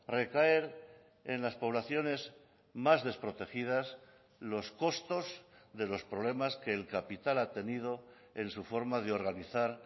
recaer en las poblaciones más desprotegidas los costos de los problemas que el capital ha tenido en su forma de organizar